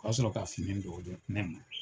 O ka sɔrɔ ka fini don ne ma